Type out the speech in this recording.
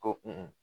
Ko kun